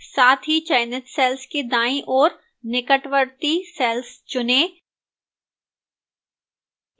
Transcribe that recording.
साथ ही चयनित cells के दाईं ओर निकटवर्ती cells चुनें